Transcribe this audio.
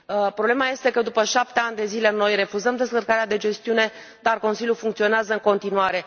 Problema este că după șapte ani de zile noi refuzăm descărcarea de gestiune, dar Consiliul funcționează în continuare.